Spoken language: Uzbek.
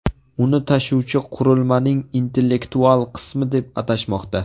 Uni tashuvchi qurilmaning intellektual qismi deb atashmoqda.